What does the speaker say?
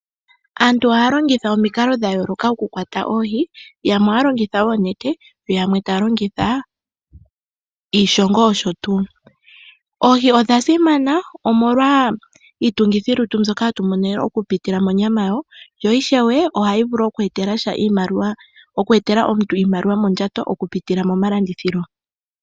Aantu ohaa longitha omikalo dha yooloka oku kwata oohi. Yamwe ohaa longitha oonete na yamwe ohaa longitha iishongo nosho tuu. Oohi odha simana omolwa iitungithilutu mbyoka ha tu mono oku pitila monyama yadho. Ohadhi vulu oku eetela omuntu iimaliwa mondjato oku pitila momalandithilo.